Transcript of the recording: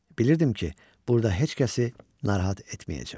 Bilirdim ki, burda heç kəsi narahat etməyəcəm.